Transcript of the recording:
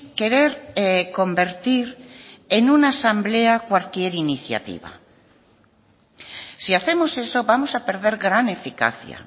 querer convertir en una asamblea cualquier iniciativa si hacemos eso vamos a perder gran eficacia